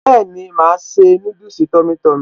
Bẹ́ẹ̀ni màá ṣe núdùsì tummy tummy